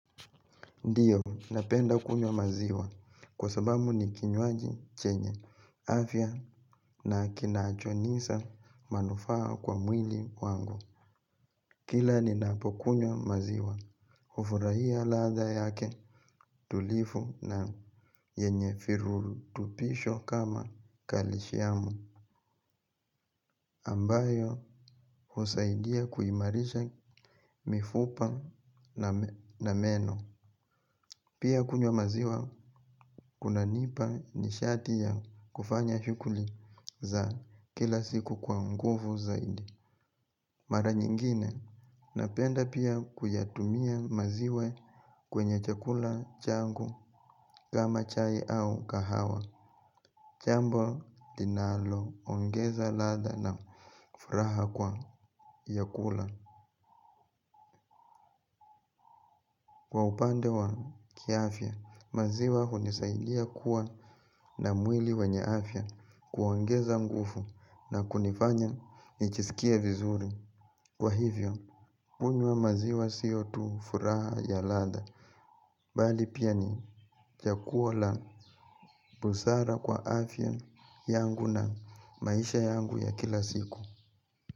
Ndiyo, napenda kunyo maziwa kwa sababu ni kinyoaji chenye afya na kinaachonisa manufaa kwa mwili wangu. Kila ni napo kunyo maziwa, ufuraia latha yake tulifu na yenye firulutupisho kama kalishiamu ambayo husaidia kuimarisha mifupa na meno. Pia kunywa maziwa, kunanipa nishati ya kufanya shukuli za kila siku kwa nguvu zaidi. Mara nyingine, napenda pia kuyatumia maziwa kwenye chakula, changu, kama chai au kahawa. Jambo, linalo, ongeza latha na furaha kwa yakula. Kwa upande wa kiafya, maziwa hunisaidia kuwa na mwili wenye afya kuongeza ngufu na kunifanya nichisikie vizuri. Kwa hivyo, kunywa maziwa siotu furaha ya lada, bali pia ni jakuo la busara kwa afya yangu na maisha yangu ya kila siku.